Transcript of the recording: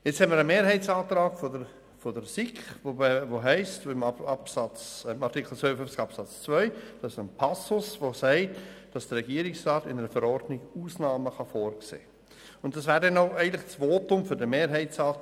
Jetzt haben wir einen Mehrheitsantrag der SiK, in dem es in Artikel 52 Absatz 2 heisst, dass der Regierungsrat in einer Verordnung Ausnahmen vorsehen kann.